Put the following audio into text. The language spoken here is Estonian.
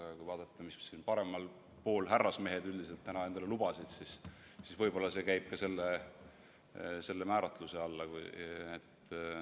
Aga kui vaadata seda, mis siin paremal pool härrasmehed täna endale lubasid, siis võib öelda, et võib-olla käib see ka selle määratluse alla.